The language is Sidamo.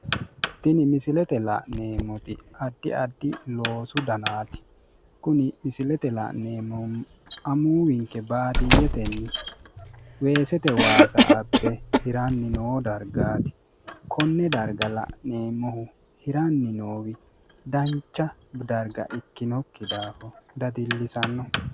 Tini misilete la'neemmoti addi addi loosu danaati. Kuni misilete la'neemmohu amuuwinke baadiyyetenni weesete waasa abbe hiranni noo dargaati. Konne darga la'neemmohu hiraanni noohu dancha darga ikkinokki daafira dadillisanno.